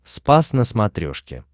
спас на смотрешке